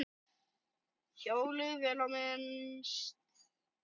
Hjólið, vel á minnst.